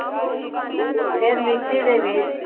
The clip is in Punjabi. ਫ਼ੇਰ ਮਿਕਸੀ ਦੇ ਵਿੱਚ